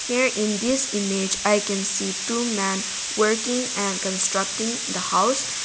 here in this image i can see a two man working and constructing the house.